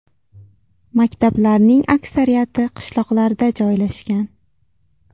Maktablarning aksariyati qishloqlarda joylashgan.